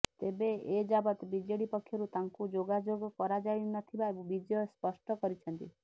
ତେବେ ଏଯାବତ୍ ବିଜେଡି ପକ୍ଷରୁ ତାଙ୍କୁ ଯୋଗାଯୋଗ କରାଯାଇନଥିବା ବିଜୟ ସ୍ପଷ୍ଟ କରିଛନ୍ତି